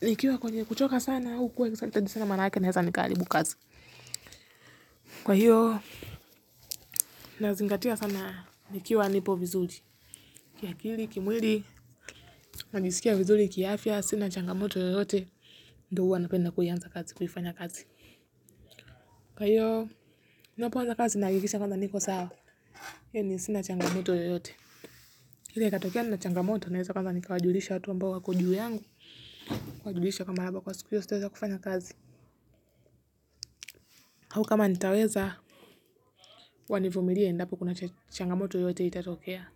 nikiwa kwenye kuchoka sana au kuwa excited sana manaake naeza nikaharibu kazi. Kwa hiyo, nazingatia sana nikiwa nipo vizuri. Kiakili, kimwili, najisikia vizuri, kiafya, sina changamoto yoyote. Ndo huwa napenda kuianza kazi, kuifanya kazi. Kwa hiyo napoanza kazi nahakikisha kwanza niko sawa yaani sina changamoto yoyote ila ikatokea nina changamoto naweza kwanza nikawajulisha watu ambao wako juu yangu kuwajulisha kwamba labda kwa siku hiyo sitaeza kufanya kazi au kama nitaweza wanivumilie endapo kuna changamoto yoyote itatokea.